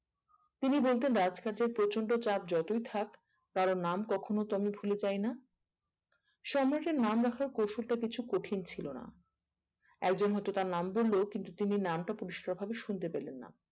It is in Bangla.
তিনি বলতেন রাজকার্যের প্রচন্ড চাপ যতই থাকে কারোর নাম কখনো তো আমি ভুলে যাই না সম্রাটের নাম রাখাটা কৌশলটা কিছু কঠিন ছিল না একজন হয়তো তার নাম বললো কিন্তু তিনি নামটা পরিষ্কার করে শুনতে পেলেন না